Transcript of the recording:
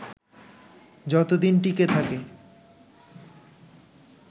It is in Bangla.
যতদিন টিকে থাকে